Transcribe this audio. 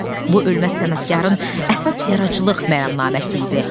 Bu ölməz sənətkarın əsas yaradıcılıq məramnaməsi idi.